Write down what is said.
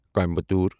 Coimbatore